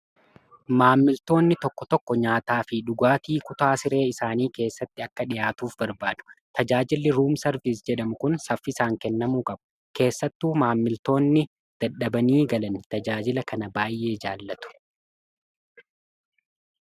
Maammiltoonni tokko tokko nyaataa fi dhugaatii kutaa siree isaanii keessatti akka dhihaatuuf barbaadu. Tajaajilli ruumsarviisii jedhamu kun saffiisaan kennamuu qabu. Keessattuu maammiltoonni dadhabanii galan tajaajila kana baay'ee jaallatu.